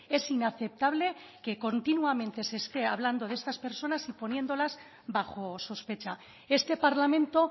es inaceptable que continuamente se esté hablando de estas personas y poniéndolas bajo sospecha este parlamento